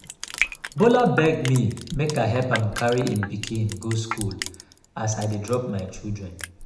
bola beg me make i help am carry im pikin go school as i dey drop my children